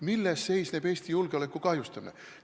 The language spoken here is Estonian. Milles seisneb Eesti julgeoleku kahjustamine?